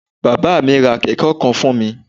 Bàbá à mí ra Kẹ̀kẹ́ kan fún mi